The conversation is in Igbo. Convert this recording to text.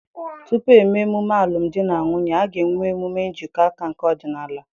Tupu eme emume alụm di na nwunye, a ga-enwe emume njikọ aka nke ọdịnala.